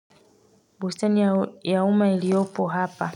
Busten ya umma iliopo hapa.